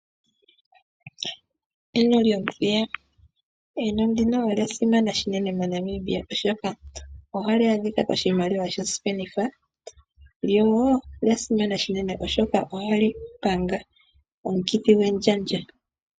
Eno lyomuthiya. Eno ndino olya simana shinene moNamibia oshoka ohali adhika koshimaliwa shosipenitha, lyo olya simana shinene oshoka ohali panga omukithi gwendjandja.